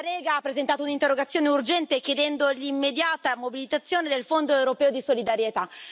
La Lega ha presentato un'interrogazione urgente, chiedendo l'immediata mobilitazione del Fondo europeo di solidarietà.